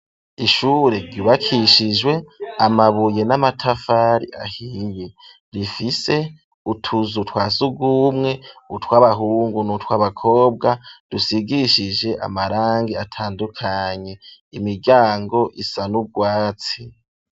Ishure ryubakishijwe amabuye n'amatafari ahiye rifise utuzu twasugumwe utw'abahungu n'utw'abakobwa, dusigishije amarangi atandukanye imiryango isa n'urwatsi.